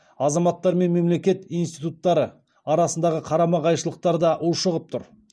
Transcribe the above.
азаматтар мен мемлекет институттары арасындағы қарама қайшылықтар да ушығып тұр